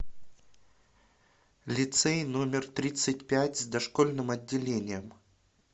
лицей номер тридцать пять с дошкольным отделением